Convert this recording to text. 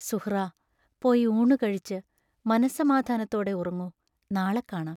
സുഹ്റാ, പോയി ഊണു കഴിച്ച്, മനസ്സമാധാനത്തോടെ ഉറങ്ങു; നാളെ കാണാം.